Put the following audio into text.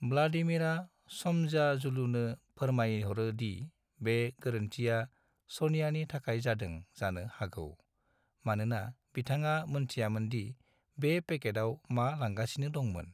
व्लादिमीरा स'मयाजुलुनो फोरमायहरो दि बे गोरोन्थिया सनियानि थाखाय जादों जानो हागौ, मानोना बिथाङा मोनथियामोन दि बे पेकेटाव मा लांगासिनो दंमोन।